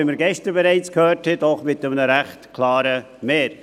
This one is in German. Dies, wie wir gestern schon gehört haben, mit einem doch ziemlich klaren Mehr.